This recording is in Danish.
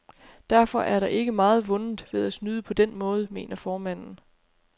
Derfor er der ikke meget vundet ved at snyde på den måde, mener formanden.